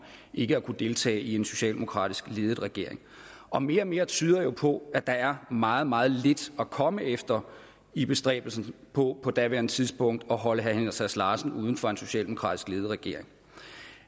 ikke at kunne deltage i en socialdemokratisk ledet regering og mere og mere tyder jo på at der er meget meget lidt at komme efter i bestræbelsen på på daværende tidspunkt at holde herre henrik sass larsen uden for en socialdemokratisk ledet regering